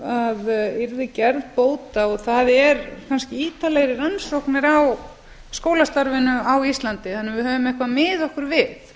að yrði gerð bót á það er kannski ítarlegri rannsóknir á skólastarfinu á íslandi þannig að við höfum eitthvað að miða okkur við